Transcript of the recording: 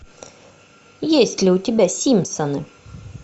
есть ли у тебя симпсоны